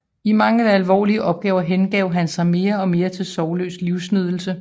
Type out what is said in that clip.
I mangel af alvorlige opgaver hengav han sig da mere og mere til sorgløs livsnydelse